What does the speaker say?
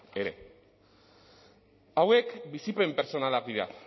ere hauek bizipen pertsonalak dira